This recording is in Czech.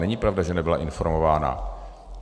Není pravda, že nebyla informována.